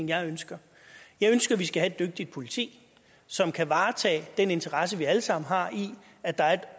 jeg ønsker jeg ønsker at vi skal have et dygtigt politi som kan varetage den interesse vi alle sammen har i at der er et